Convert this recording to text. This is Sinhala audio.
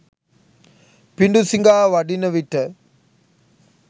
පිඬුසිඟා වඩින විට